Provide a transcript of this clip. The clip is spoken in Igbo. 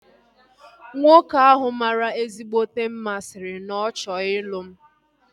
Nwoke ahu mara ezigbote mma sịrị no na ọ chọrọ ịlụ m